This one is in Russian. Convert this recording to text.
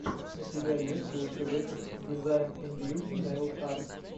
у тебя есть лучший выпуск дизайн ин бьюти нэйл арт